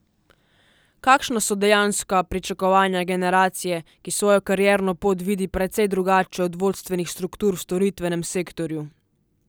Kakšna so dejanska pričakovanja generacije, ki svojo karierno pot vidi precej drugače od vodstvenih struktur v storitvenem sektorju?